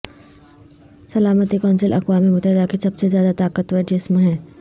سلامتی کونسل اقوام متحدہ کے سب سے زیادہ طاقتور جسم ہے